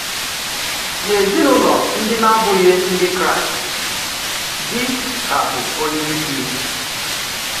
N’èzìnùlọ ndị na-abùghị Ndị Kraíst, dì kà bụ̀ ònyéísì.